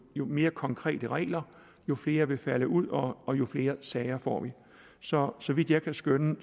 jo mere konkrete regler jo flere vil falde ud og og jo flere sager får vi så så vidt jeg kan skønne